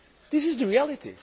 This is the reality.